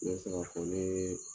Ne bɛ se ka fɔ nee